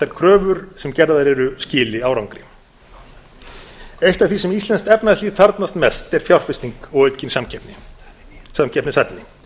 kröfur sem gerðar eru skili árangri eitt af því sem íslenskt efnahagslíf þarfnast mest er fjárfesting og aukin samkeppnishæfni